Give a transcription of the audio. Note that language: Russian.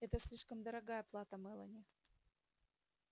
это слишком дорогая плата мелани